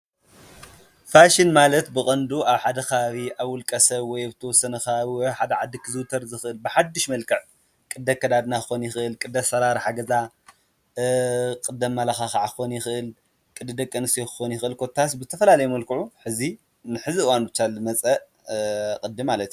ፋሽን ማለት ብቐንዱ ኣብ ሓደ ኸባቢ ኣብ ውልቀ ሰብ ወይ ኣብ ተወሰነ ከባቢ ወይ ኣብ ሓደ ዓዲ ክዝዉተር ዝኽእል ብሓድሽ መልከዕ ቕዲ ኣከዳድና ኽኾን ይኽእል ቅዲ ኣሰራርሓ ገዛ ቕዲ ኣማላኻኽ ክኾን የኽእል ቕዲ ደቀ ኣንስትዮ ክኾን የኽእል ኮታስ ብዝተፈላለየ መልክዑ ሕዚ ንሕዚ አዋን ብቻ ልመጸእ ቕዲ ማለት እዩ፡፡